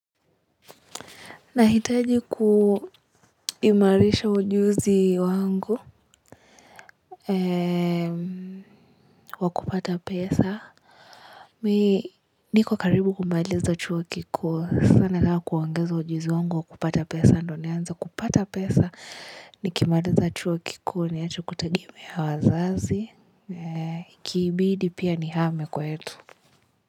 Nahitaji kuhimarisha ujuzi wangu wa kupata pesa. Mimi niko karibu kumaliza chuo kikuu sana kwa kuongeza ujuzi wangu wa kupata pesa. Ndiyo nianze kupata pesa. Nikimaliza chuo kikuu niache kutegemea wazazi. Ikibidi pia nihame kwetu.